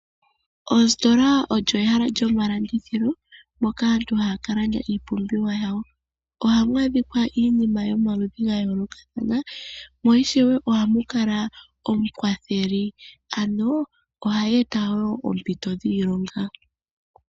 Ositola olyo ehala lyomalandithilo moka aantu haya ka landa iipumbiwa yawo, ohamu adhikwa iinima yomaludhi ga yoolokathana. Mo ishewe ohamu kala omukwatheli, ano ohadhi eta wo oompito dhiilonga.